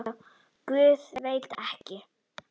Guð, veit ekki.